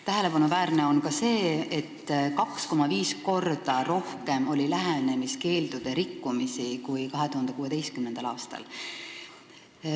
Tähelepanuväärne on ka see, et 2,5 korda rohkem kui 2016. aastal oli lähenemiskeeldude rikkumisi.